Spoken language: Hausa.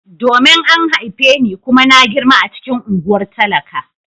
Domin an haife ni kuma na girma a cikin unguwar talaka.